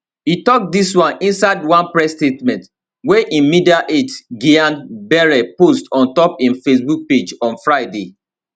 e tok dis one inside one press statement wey im media aide gyang bere post ontop im facebook page on friday